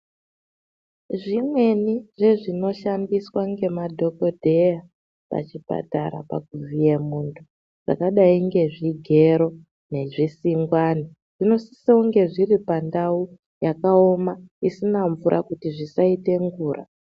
Zvimweni zvezvinoshandiswa ngemadhokodheya pachipatara pakuvhiya muntu zvakadayi ngezvigero nezvisingwani zvinosise kunge zviri pandau yakaoma, isina mvura kuti zvisaite ngura.